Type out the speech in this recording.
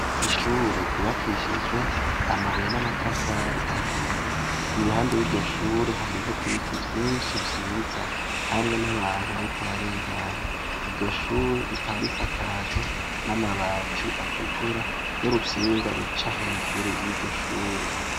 ishure ryubakishijwe amabuye n'amatafari ahiye i ruhande yiryo shure hariho ibiti vyinshi vyiza hamwe n'abantu bariko bararengana yiryo shure rikaba risakajwe n'amabati atukura n' urutsinga ruca hejuru yiryo shure